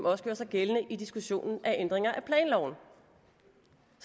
også gjorde sig gældende i diskussionen af ændringer